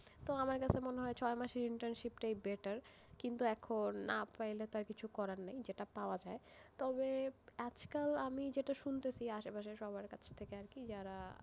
তো আমার তাতে মনে হয় ছয় মাসের internship টাই better, কিন্তু এখন, না পাইলে তো আর কিছু করার নেই, যেটা পাওয়া যায়, তবে, আজকাল আমি যেটা শুনতেছি আশেপাশে সবার কাছ থেকে আরকি যারা,